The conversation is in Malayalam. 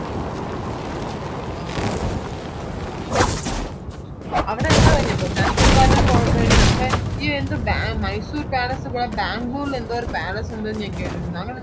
ഓ ആഹ് ആഹ്